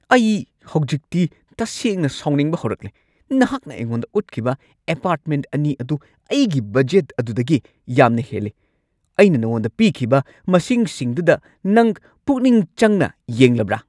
ꯑꯩ ꯍꯧꯖꯤꯛꯇꯤ ꯇꯁꯦꯡꯅ ꯁꯥꯎꯅꯤꯡꯕ ꯍꯧꯔꯛꯂꯦ꯫ ꯅꯍꯥꯛꯅ ꯑꯩꯉꯣꯟꯗ ꯎꯠꯈꯤꯕ ꯑꯦꯄꯥꯔꯠꯃꯦꯟꯠ ꯑꯅꯤ ꯑꯗꯨ ꯑꯩꯒꯤ ꯕꯗꯖꯦꯠ ꯑꯗꯨꯗꯒꯤ ꯌꯥꯝꯅ ꯍꯦꯜꯂꯤ꯫ ꯑꯩꯅ ꯅꯉꯣꯟꯗ ꯄꯤꯈꯤꯕ ꯃꯁꯤꯡꯁꯤꯡꯗꯨꯗ ꯅꯪ ꯄꯨꯛꯅꯤꯡ ꯆꯪꯅ ꯌꯦꯡꯂꯕ꯭ꯔꯥ?